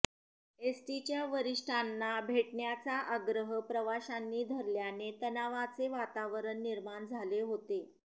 एसटीच्या वरिष्ठांना भेटण्याचा आग्रह प्रवाशांनी धरल्याने तणावाचे वातावरण निर्माण झाले होते